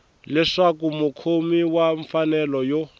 leswaku mukhomi wa mfanelo yo